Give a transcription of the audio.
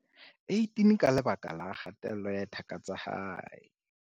18 ka lebaka la kgatello ya thaka tsa hae.